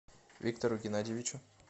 виктору геннадьевичу